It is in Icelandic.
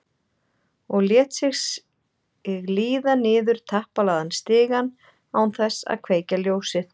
Og lét sig líða niður teppalagðan stigann án þess að kveikja ljósið.